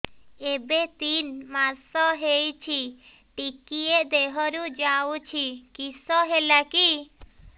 ଏବେ ତିନ୍ ମାସ ହେଇଛି ଟିକିଏ ଦିହରୁ ଯାଉଛି କିଶ ହେଲାକି